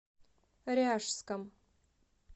ряжском